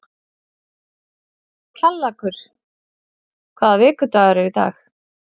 Kjallakur, hvaða vikudagur er í dag?